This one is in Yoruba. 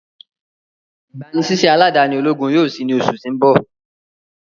igbanisiṣẹ aladani ologun yoo ṣii ni oṣu ti n bọ.